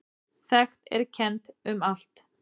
Þekkt er kennt um allt.